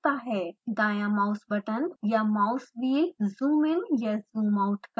दायाँ mouse button या mouse wheel zoom in या ज़ूम आउट करने के लिए